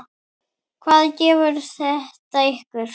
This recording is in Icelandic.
Hvað gefur þetta ykkur?